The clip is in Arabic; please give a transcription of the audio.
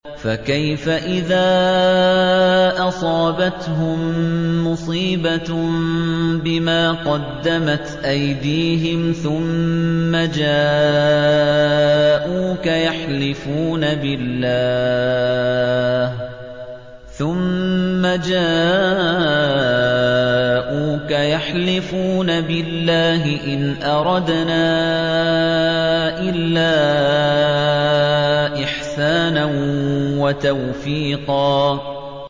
فَكَيْفَ إِذَا أَصَابَتْهُم مُّصِيبَةٌ بِمَا قَدَّمَتْ أَيْدِيهِمْ ثُمَّ جَاءُوكَ يَحْلِفُونَ بِاللَّهِ إِنْ أَرَدْنَا إِلَّا إِحْسَانًا وَتَوْفِيقًا